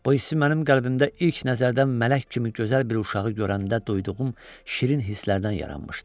Bu hissi mənim qəlbimdə ilk nəzərdən mələk kimi gözəl bir uşağı görəndə duyduğum şirin hislərdən yaranmışdı.